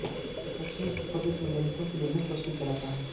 यह पश्चिमी उत्तर प्रदेश में दलितों के लिए मुफ्त स्कूल चलाता है